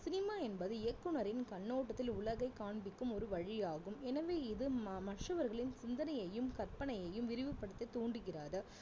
cinema என்பது இயக்குனரின் கண்ணோட்டத்தில் உலகை காண்பிக்கும் ஒரு வழியாகும் எனவே இது மற்றவர்களின் சிந்தனையையும் கற்பனையையும் விரிவுபடுத்த தூண்டுகிறது